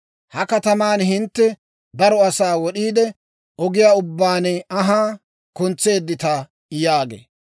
Ha kataman hintte daro asaa wod'iide, ogiyaa ubbaan anhaa kuntseeddita yaagee.